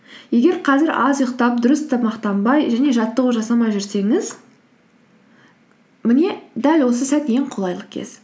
егер қазір аз ұйықтап дұрыс тамақтанбай және жаттығу жасамай жүрсеңіз міне дәл осы сәт ең қолайлы кез